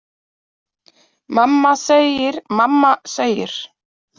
Mamma segir, mamma segir.